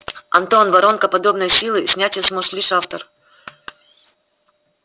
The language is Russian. антон воронка подобной силы снять её сможет лишь автор